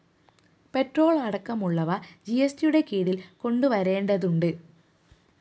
petrol അടക്കമുള്ളവ ജിഎസ്ടിയുടെ കീഴില്‍ കൊണ്ടുവരേണ്ടതുണ്ട്